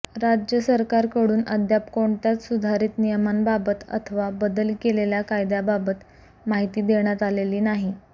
राज्य सरकारकडून अद्याप कोणत्याच सुधारित नियमांबाबत अथवा बदल केलेल्या कायद्याबाबत माहिती देण्यात आलेली नाही